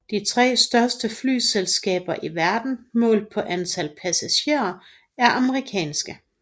De tre største flyselskaber i verden målt på antal passagerer er amerikanske